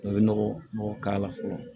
I bɛ nɔgɔ nɔgɔ k'ala fɔlɔ